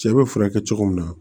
Cɛ bɛ furakɛ cogo min na